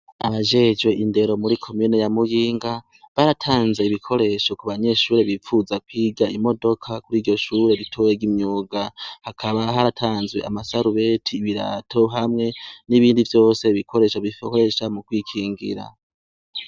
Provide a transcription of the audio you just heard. Abajejwe indero muri komena ya muginga baratanze ibikoresho ku banyeshure bipfuza kwiga imodoka kuri iryo shure bituwegaimyuga hakaba haratanzwe amasarubeti ibirato hamwe n'ibindi vyose bikoresho bifohoresha mu kwikingira.